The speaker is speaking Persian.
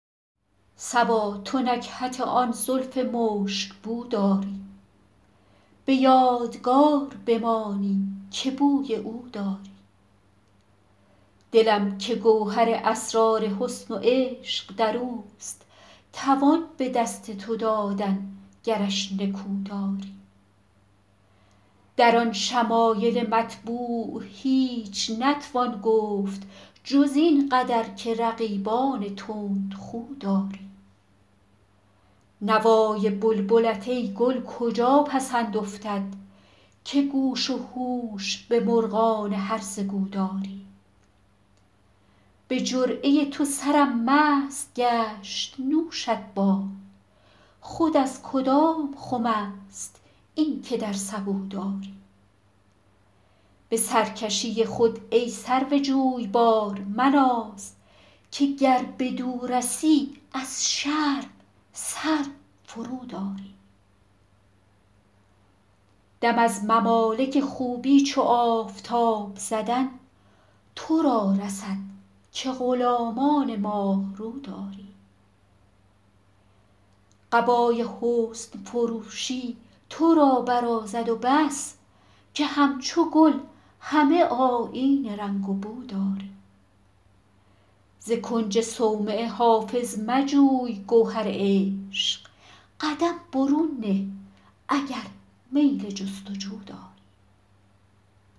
صبا تو نکهت آن زلف مشک بو داری به یادگار بمانی که بوی او داری دلم که گوهر اسرار حسن و عشق در اوست توان به دست تو دادن گرش نکو داری در آن شمایل مطبوع هیچ نتوان گفت جز این قدر که رقیبان تندخو داری نوای بلبلت ای گل کجا پسند افتد که گوش و هوش به مرغان هرزه گو داری به جرعه تو سرم مست گشت نوشت باد خود از کدام خم است این که در سبو داری به سرکشی خود ای سرو جویبار مناز که گر بدو رسی از شرم سر فروداری دم از ممالک خوبی چو آفتاب زدن تو را رسد که غلامان ماه رو داری قبای حسن فروشی تو را برازد و بس که همچو گل همه آیین رنگ و بو داری ز کنج صومعه حافظ مجوی گوهر عشق قدم برون نه اگر میل جست و جو داری